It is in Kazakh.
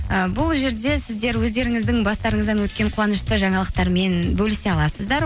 ы бұл жерде сіздер өздеріңіздің бастарыңыздан өткен қуанышты жаңалықтармен бөлісе аласыздар